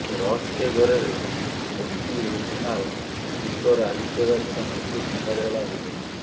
ରହସ୍ୟ ଘେରରେ motivational speaker Aditya ଦାସଙ୍କ ମୃତ୍ୟୁ ଥାନାରେ ହେଲା ଅଭିଯୋଗ